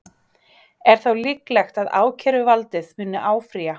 Er þá líklegt að ákæruvaldið muni áfrýja?